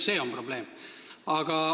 See on probleem.